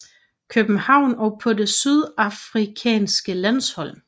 København og på det sydafrikanske landshold